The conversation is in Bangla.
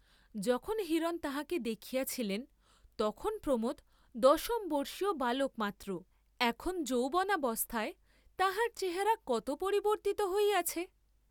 যখন হিরণ তাঁহাকে দেখিয়াছিলেন তখন প্রমোদ দশমবর্ষীয় বালক মাত্র, এখন যৌবনাবস্থায় তাঁহার চেহারা কত পরিবর্ত্তিত হইয়াছে।